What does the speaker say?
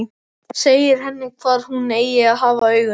Segir henni hvar hún eigi að hafa augun.